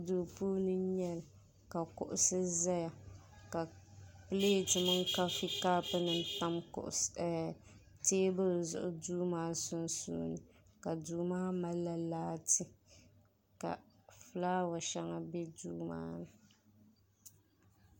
duu puuni n nyɛli ka kuɣusi ʒɛya ka pilɛt mini kapu nim tam teebuli zuɣu duu maa sunsuuni ka duu maa malila laati ka fulaawa shɛŋa bɛ duu maa ni